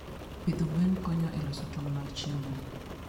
Pidho gwen konyo e loso tong' mag chiemo.